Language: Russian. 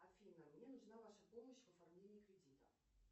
афина мне нужна ваша помощь в оформлении кредита